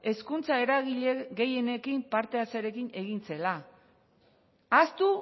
hezkuntza eragile gehienen parte hartzearekin egin zela ahaztu